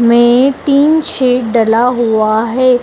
में tin shed डला हुआ है